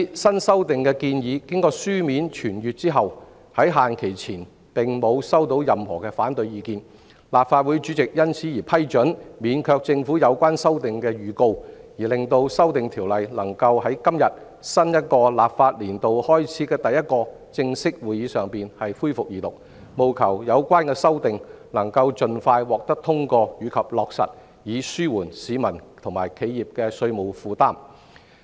新修訂的建議經書面傳閱後，在限期前並無收到任何反對意見，立法會主席因而批准免卻政府就有關修訂作出預告，令《條例草案》能夠在今天新一個立法年度開始的第一個正式會議上恢復二讀，務求有關修訂能夠盡快獲得通過及落實，以紓緩市民及企業的稅務負擔。